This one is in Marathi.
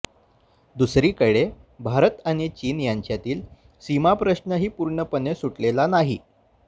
दुसरीकडे भारत आणि चीन यांच्यातील सीमाप्रश्नही पूर्णपणे सुटलेला नाही